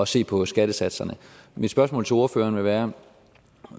se på skattesatserne mit spørgsmål til ordføreren vil være